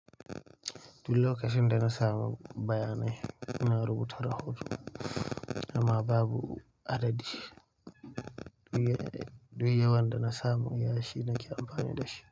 Duk lokacin da na samu bayanai, ina rubuta rahoton amma babu adadi. Duk yawan da na samu iya shi nake amfani da shi.